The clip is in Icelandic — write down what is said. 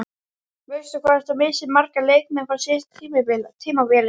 Veistu hvort þú missir marga leikmenn frá síðasta tímabili?